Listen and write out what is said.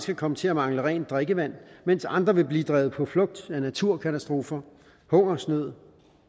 vil komme til at mangle rent drikkevand mens andre vil blive drevet på flugt af naturkatastrofer hungersnød